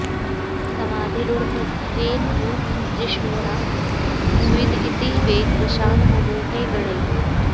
समधिरूढमजेन नु जिष्णुना स्विद् इति वेगवशान् मुमुहे गणैः